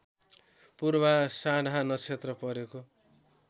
पूर्वाषाढा नक्षत्र परेको